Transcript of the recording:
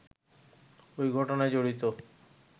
ওই ঘটনায় জড়িত